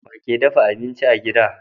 Wake dafa abinci a gida